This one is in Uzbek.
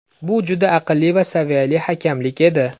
Bu juda aqlli va saviyali hakamlik edi.